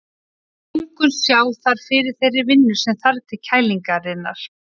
Lungun sjá þar fyrir þeirri vinnu sem þarf til kælingarinnar.